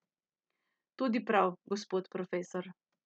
Tudi prav, gospod profesor.